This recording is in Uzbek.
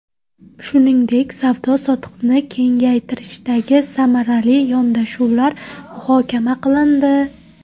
Shuningdek, savdo-sotiqni kengaytirishdagi samarali yondashuvlar muhokama qilindi.